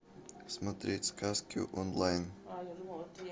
смотреть сказки онлайн